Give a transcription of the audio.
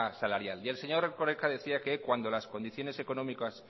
salarial y el señor erkoreka decía que cuando las condiciones económicas